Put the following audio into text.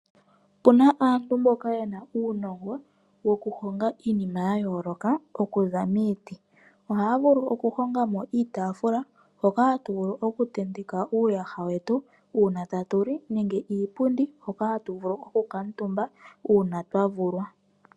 Opena aantu mboka yena uunongo wokuhonga iinima yayooloka okuza miiti. Ohaya vulu okuhongamo iitaafula mbyoka hatu vulu okutentekako uuyasha wetu uuna tatu li nenge iipundi hoka tatu vulu okukutumba uuna aantu ayvulwa.